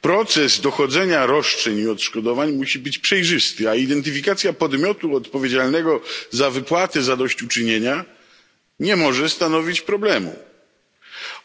Proces dochodzenia roszczeń i odszkodowań musi być przejrzysty, a identyfikacja podmiotu odpowiedzialnego za wypłaty zadośćuczynienia nie może stanowić problemu.